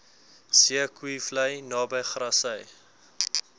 zeekoevlei naby grassy